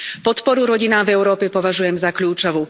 Podporu rodinám v Európe považujem za kľúčovú.